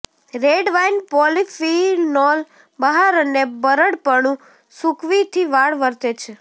red wine polyphenol બહાર અને બરડપણું સૂકવી થી વાળ વર્તે છે